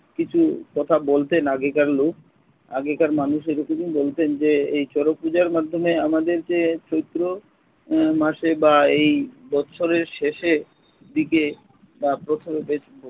কিছু কথা বলতেন আগেকার লোক আগেকার মানুষ এরকমই বলতেন যে এই চড়ক পূজার মাধ্যমে আমাদের যে চৈত্র উহ মাসে বা এই বৎসরের শেষে এর দিকে বা প্রথমে